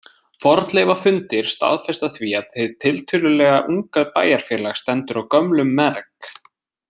Fornleifafundir staðfesta því að hið tiltölulega unga bæjarfélag stendur á gömlum merg.